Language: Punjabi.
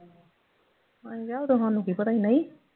ਅਸੀਂ ਕਿਹਾ ਉਦੋਂ ਸਾਨੂੰ ਕੀ ਪਤਾ ਸੀ ਨਹੀਂ